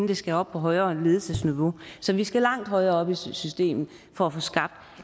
det skal op på højere ledelsesniveau så vi skal langt højere op i systemet for at få skabt